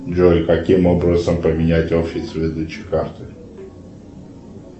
джой каким образом поменять офис выдачи карты